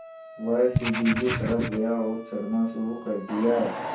वह सीढ़ी की तरफ़ गया और चढ़ना शुरू कर दिया